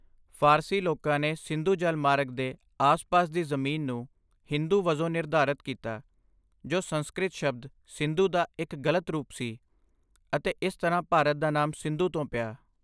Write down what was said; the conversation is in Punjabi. ਫ਼ਾਰਸੀ ਲੋਕਾਂ ਨੇ ਸਿੰਧੂ ਜਲ ਮਾਰਗ ਦੇ ਆਸ ਪਾਸ ਦੀ ਜ਼ਮੀਨ ਨੂੰ ਹਿੰਦੂ ਵਜੋਂ ਨਿਰਧਾਰਤ ਕੀਤਾ, ਜੋ ਸੰਸਕ੍ਰਿਤ ਸ਼ਬਦ 'ਸਿੰਧੂ' ਦਾ ਇੱਕ ਗਲਤ ਰੂਪ ਸੀ ਅਤੇ ਇਸ ਤਰ੍ਹਾਂ ਭਾਰਤ ਦਾ ਨਾਮ 'ਸਿੰਧੂ' ਤੋਂ ਪਿਆ ਹੈ